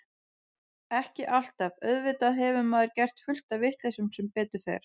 Ekki alltaf, auðvitað hefur maður gert fullt af vitleysum sem betur fer.